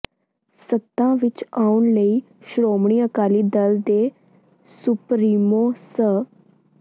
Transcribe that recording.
ਸੱਤਾ ਵਿਚ ਆਉਣ ਲਈ ਸ਼੍ਰੋਮਣੀ ਅਕਾਲੀ ਦਲ ਦੇ ਸੁਪਰੀਮੋ ਸ